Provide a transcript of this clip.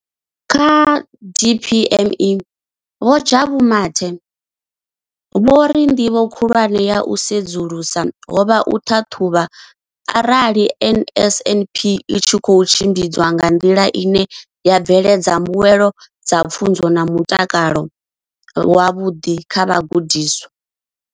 Kha DPME, Vho Jabu Mathe, vho ri ndivho khulwane ya u sedzulusa ho vha u ṱhaṱhuvha arali NSNP i tshi khou tshimbidzwa nga nḓila ine ya bveledza mbuelo dza pfunzo na mutakalo wavhuḓi kha vhagudiswa.